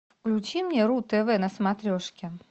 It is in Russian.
включи мне ру тв на смотрешке